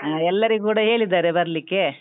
ಹ ಎಲ್ಲರಿಗು ಕುಡ ಹೇಳಿದ್ದಾರೆ ಬರ್ಲಿಕ್ಕೆ.